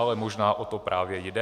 Ale možná o to právě jde.